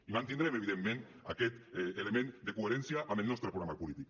i mantindrem evidentment aquest element de coherència amb el nostre programa polític